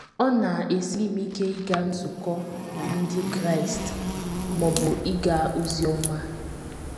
Ọ na - esiri m ike ịga nzukọ Ndị Kraịst ma ọ bụ ịga ozi ọma. ”